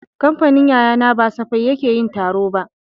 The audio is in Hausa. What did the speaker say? Kamfanin yayana ba safai yake yin taro ba